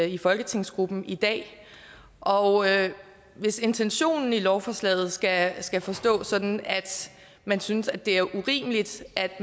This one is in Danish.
i folketingsgruppen i dag og hvis intentionen i lovforslaget skal skal forstås sådan at man synes det er urimeligt at